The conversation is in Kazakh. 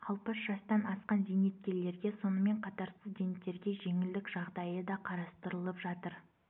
алпыс жастан асқан зейнеткерлерге сонымен қатар студенттерге жеңілдік жағдайы да қарастырылып жатыр